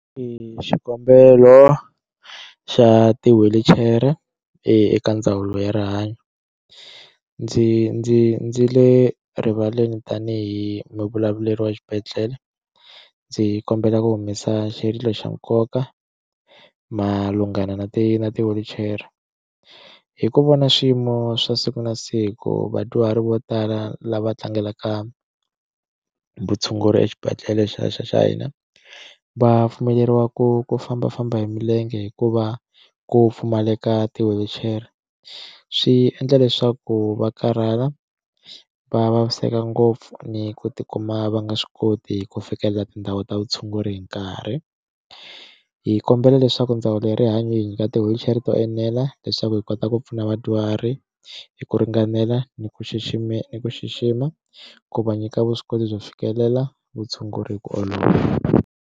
I xikombelo xa ti wheelchair eka ndzawulo ya rihanyo ndzi ndzi ndzi le rivaleni tanihi muvulavuleri wa xibedhlele ndzi kombela ku humesa xirilo xa nkoka malungana na ti na ti wheelchair hi ku vona swiyimo swa siku na siku vadyuhari vo tala lava tlangelaka vutshunguri exibedhlele xa xa xa hina va pfumeleriwa ku ku fambafamba hi milenge hikuva ku pfumaleka ti wheelchair swi endla leswaku va karhala va vaviseka ngopfu ni ku tikuma va nga swi koti ku fikelela tindhawu ta vutshunguri hi nkarhi hi kombela leswaku ndzawulo ya rihanyo hi nyika ti wheelchair to enela leswaku hi kota ku pfuna vadyuhari hi ku ringanela ni ku xixima ni ku xixima ku va nyika vuswikoti byo fikelela vutshunguri hi ku olova.